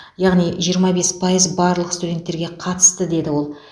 яғни жиырма бес пайыз барлық студенттерге қатысты деді ол